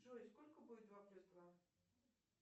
джой сколько будет два плюс два